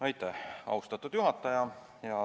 Aitäh, austatud juhataja!